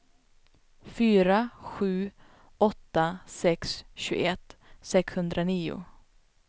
fyra sju åtta sex tjugoett sexhundranio